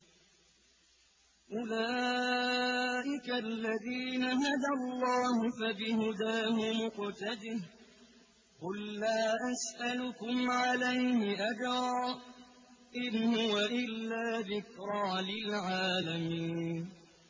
أُولَٰئِكَ الَّذِينَ هَدَى اللَّهُ ۖ فَبِهُدَاهُمُ اقْتَدِهْ ۗ قُل لَّا أَسْأَلُكُمْ عَلَيْهِ أَجْرًا ۖ إِنْ هُوَ إِلَّا ذِكْرَىٰ لِلْعَالَمِينَ